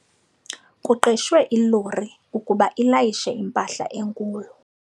Kuqeshwe ilori ukuba ilayishe impahla enkulu.